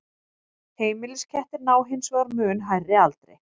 heimiliskettir ná hins vegar mun hærri aldri